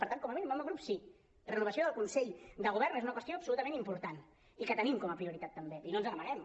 per tant com a mínim el meu grup sí la renovació del consell de govern és una qües·tió absolutament important i que tenim com a prioritat també i no ens n’amaguem